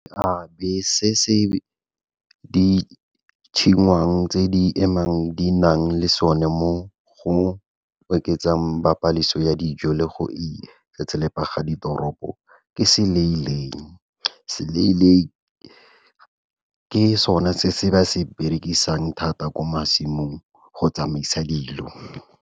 Seabe se se tse di emang di nang le sone mo go oketsang ya dijo le go itsetselepa ga ditoropo ke ke sona se ba se berekisang thata ko masimong go tsamaisa dilo.